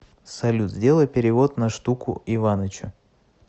салют сделай перевод на штуку иванычу